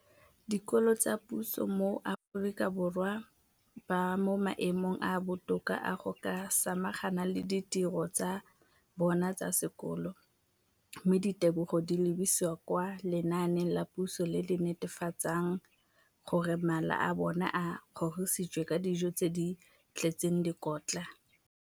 Dikolo tsa puso mo Aforika Borwa ba mo maemong a a botoka a go ka samagana le ditiro tsa bona tsa sekolo, mme ditebogo di lebisiwa kwa lenaaneng la puso le le netefatsang gore mala a bona a kgorisitswe ka dijo tse di tletseng dikotla.